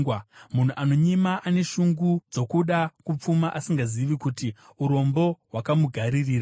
Munhu anonyima ane shungu dzokuda kupfuma asingazivi kuti urombo hwakamugaririra.